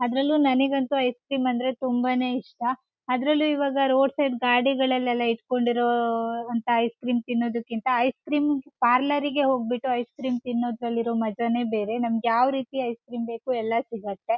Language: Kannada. ಅದರಲ್ಲೂ ನನಿಗಂತೂ ಐಸ್ ಕ್ರೀಮ್ ಅಂದ್ರೆ ತುಂಬಾ ನೇ ಇಷ್ಟ ಅದರಲ್ಲೂ ಇವಾಗ ರೋಡ್ ಸೆಡ್ ಗಾಡಿಗಳಲೆಲ್ಲ ಇಟ್ಟ್ಕೊಂಡು ಇರೋ ಅಂತ ಐಸ್ ಕ್ರೀಮ್ ಪಾರ್ಲರ್ ಗೆ ಹೋಗ್ಬಿಟ್ಟು ಐಸ್ ಕ್ರೀಮ್ ತಿನ್ನೋದರಲ್ಲಿ ಇರೋ ಮಾಜಾ ನೇ ಬೇರೆ ನಮಗೆ ಯಾವ ರೀತಿ ಐಸ್ ಕ್ರೀಮ್ ಬೇಕು ಎಲ್ಲ ಸಿಗುತ್ತೆ.